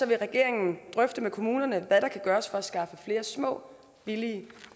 vil regeringen drøfte med kommunerne hvad der kan gøres for at skaffe flere små billige